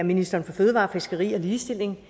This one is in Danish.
minister for fødevarer fiskeri og ligestilling